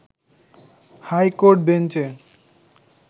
high court বেঞ্চে